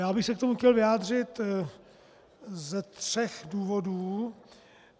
Já bych se k tomu chtěl vyjádřit ze tří důvodů.